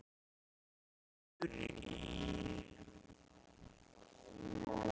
Sindri Sindrason: Niður í?